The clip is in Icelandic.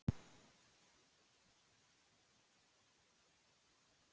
Ég kveið fyrir að spyrja hann hvort hann vildi vera trúnaðarmaðurinn minn.